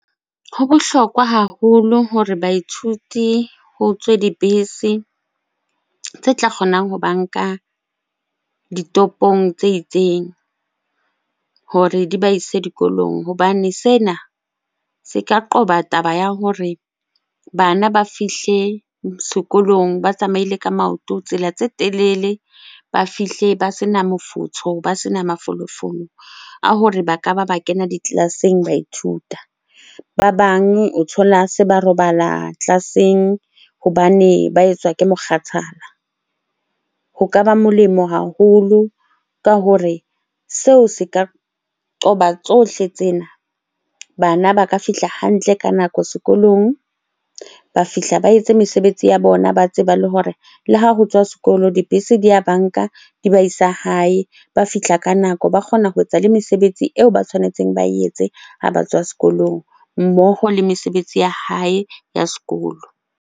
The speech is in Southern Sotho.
Ho bohlokwa haholo hore baithuti ho tswe dibese tse tla kgonang ho ba nka ditopong tse itseng hore di ba ise dikolong. Hobane sena se ka qoba taba ya hore bana ba fihle sekolong ba tsamaile ka maoto tsela tse telele, ba fihle ba sena mofutsho, ba sena mafolofolo a hore ba ka ba ba kena di-class-eng ba ithuta. Ba bang o thola se ba robala class-eng hobane ba etswa ke mokgathala. Ho ka ba molemo haholo ka hore seo se ka qoba tsohle tsena. Bana ba ka fihla hantle ka nako sekolong, ba fihla ba etse mesebetsi ya bona, ba tseba le hore le ha ho tswa sekolo dibese di ya ba nka di ba isa hae. Ba fihla ka nako, ba kgona ho etsa le mesebetsi eo ba tshwanetseng ba etse ha ba tswa sekolong mmoho le mesebetsi ya hae ya sekolo.